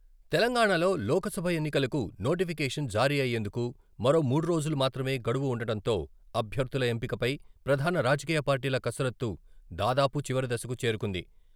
తెలంగాణాలో లోక్ సభ ఎన్నికలకు నోటిఫికేషన్ జారీ అయ్యేందుకు మరో మూడు రోజులు మాత్రమే గడువు వుండటంతో అభ్యర్థుల ఎంపికపై ప్రధాన రాజకీయ పార్టీల కసరత్తు దాదాపు చివరి దశకు చేరుకుంది.